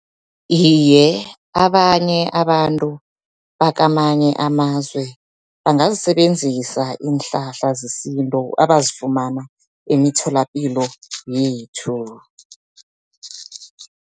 Iye, abanye abantu bakamanye amazwe, bangazisebenzisa iinhlahla zesintu abazifumana emitholapilo yethu.